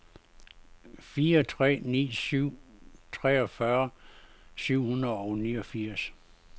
fire tre ni syv treogfyrre syv hundrede og niogfirs